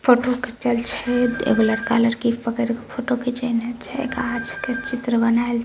photo खीचल छै एगो लड़का लड़की के पकड़ के फोटो खिचेने छै गाछ के चित्र बनाएल --